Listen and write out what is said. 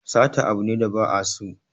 Sata abu ne da ba a so